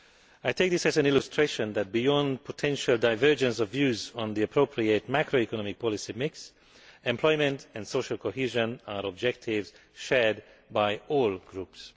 I take this as an illustration that, beyond the potential divergence of views on the appropriate macroeconomic policy mix, employment and social cohesion are objectives shared by all groups.